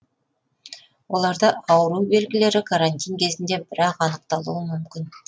оларда ауру белгілері карантин кезінде бір ақ анықталуы мүмкін